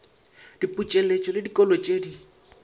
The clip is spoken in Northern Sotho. diputseletšo le dikholo tše di